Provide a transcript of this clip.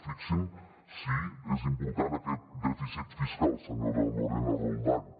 fixin se si n’és d’important aquest dèficit fiscal senyora lorena roldán